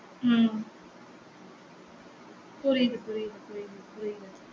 உம் புரியுது புரியுது புரியுது புரியுது